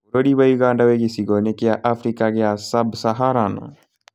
Bũrũri wa ũganda wĩ gĩcigo-inĩ gĩa Africa gĩa Sub Saharan